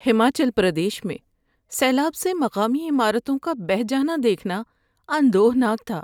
ہماچل پردیش میں سیلاب سے مقامی عمارتوں کا بہہ جانا دیکھنا اندوہ ناک تھا۔